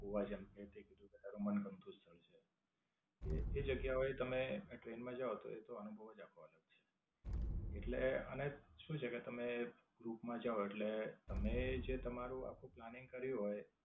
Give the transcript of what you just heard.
ગોવા જાવ એટલે કે જો તારું મનગમતું સ્થળ છે એ જગ્યાઓ એ તમે આ ટ્રેન માં જાઓ તો એ તો અનુભવ જ આપવાનો છે. એટલે આને શું છે કે તમે group માં જાઓ એટલે તમને જે તમારું આખું planning કર્યું હોય.